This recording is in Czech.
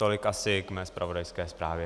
Tolik asi k mé zpravodajské zprávě.